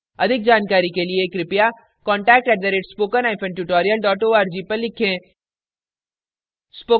अधिक जानकारी के लिए कृपया contact @spokentutorial org पर लिखें